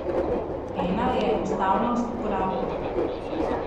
Ena je enostavnost uporabe.